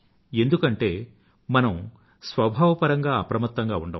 ఎందుకు అంటే మనం స్వభావపరంగా అప్రమత్తంగా ఉండము